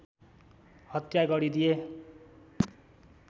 हत्या गरिदिए